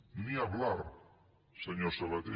ni hablar senyor sabaté